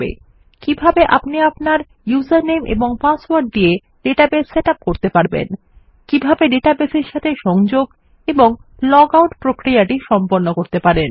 আমি আপনাকে দেখাবো কিভাবে আপনি আপনার উসের নামে এবং পাসওয়ার্ড দিয়ে ডেটাবেস সেট ইউপি করতে পারবেন কিভাবে ডেটাবেস এর সাথে সংযোগ এবং লগআউট প্রক্রিয়াটি সম্পন্ন করবেন